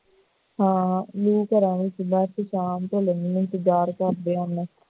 ਹਾਂ ਲੋਕ ਘਰਾਂ ਦੇ ਵਿੱਚ ਹੀ ਬਾਦਚ ਸ਼ਾਮ ਢਲਣ ਦਾ ਇੰਤਜ਼ਾਰ ਕਰਦੇ ਹਨ